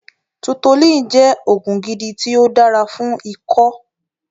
Tutolin jẹ́ oògùn gidi ti o dára fún ikó